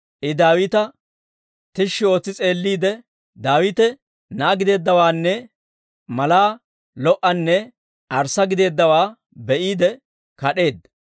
I Daawita tishshi ootsi s'eelliide, Daawite na'aa gideeddawaanne malaa lo"anne arssa giddeeddawaa be'iide kad'eedda.